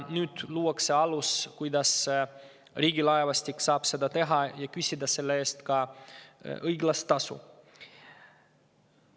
Nüüd luuakse alus, kuidas Riigilaevastik saab seda teha ja küsida selle eest ka õiglast tasu.